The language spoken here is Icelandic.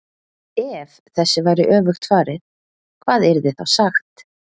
EF þessu væri öfugt farið, hvað yrði þá sagt?